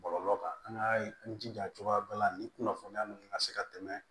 Bɔlɔlɔ kan an ka jija cogoya bɛɛ la nin kunnafoniya ninnu ka se ka tɛmɛ